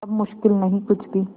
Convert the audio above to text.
अब मुश्किल नहीं कुछ भी